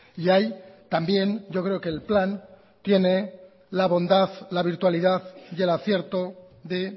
y ahí también yo creo que el plan tiene la bondad la virtualidad y el acierto de